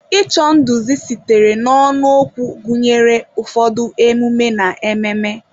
Ịchọ nduzi sitere n'ọnụ okwu gụnyere ụfọdụ emume/ememe.